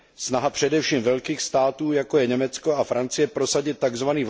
Snaha především velkých států, jako je Německo a Francie, prosadit tzv.